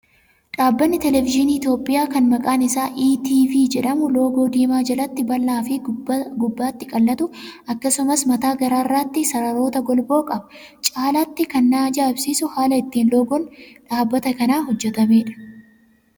Dhaabbanni televezyiinii Itoophiyaa kan maqaan isaa "ETV" jedhamu loogoo diimaa jalatti bal'aa fi gubbaatti qal'atu akkasumas mataa gararraatti sararoota golboo qaba. Caalaatti kan na ajaa'ibsiisu haala ittiin loogoon dhaabbata kanaa hojjetameedha.